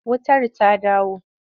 Wutar ta dawo?